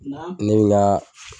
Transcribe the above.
namu nolaa